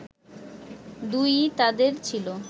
দুই-ই তাঁদের ছিল